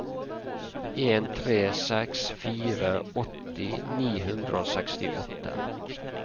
en tre seks fire åtti ni hundre og sekstiåtte